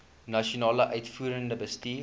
nasionale uitvoerende bestuur